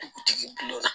Dugutigi bi la